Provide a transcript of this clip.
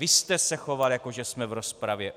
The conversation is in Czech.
Vy jste se choval, jako že jsme v rozpravě.